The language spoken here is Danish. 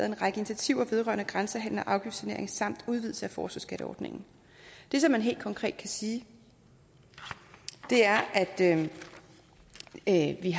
en række initiativer vedrørende grænsehandel og afgiftssanering samt udvidelse af forskerskatteordningen det som man helt konkret kan sige er at vi